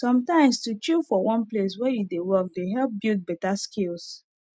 sometimes to chill for one place wey you dey work dey help build better skills